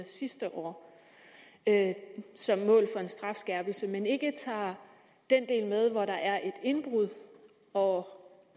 sidste år som mål for en strafskærpelse men ikke tager den del med hvor der er et indbrud og